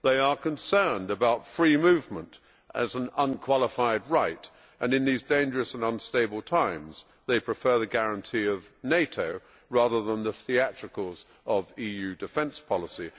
They are concerned about free movement as an unqualified right, and in these dangerous and unstable times they prefer the guarantee of NATO, rather than the theatricals of EU defence policy.